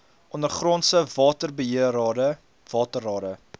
ondergrondse waterbeheerrade waterrade